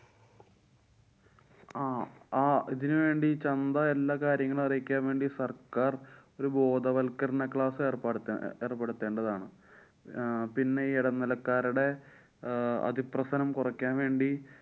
ആഹ് ആ ഇതിനുവേണ്ടി ചന്ത എല്ലാകാര്യങ്ങളും അറിയിക്കാന്‍ വേണ്ടി സര്‍ക്കാര്‍ ഒരു ബോധവല്‍ക്കരണ class ഏര്‍പ്പെ~ ഏര്‍പ്പെടുത്തെണ്ടാതാണ്. അഹ് പിന്നെ ഈ ഇടനിലക്കാരടെ ആഹ് അതിപ്രസരം കൊറക്കാന്‍ വേണ്ടി